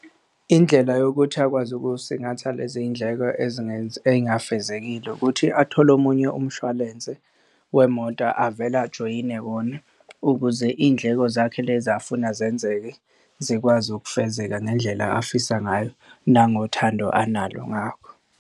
Indlela yokuthi akwazi ukuy'singatha lezi y'ndleko ezingafezekile ukuthi athole omunye umshwalense wemoto avele ajoyine wona, ukuze iy'ndleko zakhe lezi afuna zenzeke zikwazi ukufezeka ngendlela afisa ngayo nangothando analo ngakho.